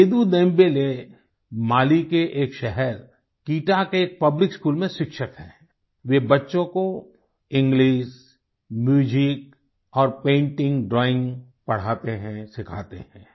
सेदू Dembele Mali के एक शहर किता के एक पब्लिक स्कूल में शिक्षक हैं वे बच्चों को इंग्लिश म्यूजिक और पेंटिंग ड्राइंग पढ़ाते हैं सिखाते हैं